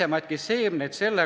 Aitäh, et sain sõna vabas mikrofonis!